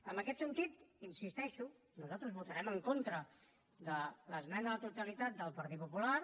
en aquest sentit hi insisteixo nosaltres votarem en contra de l’esmena a la totalitat del partit popular